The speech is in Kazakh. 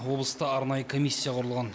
облыста арнайы комиссия құрылған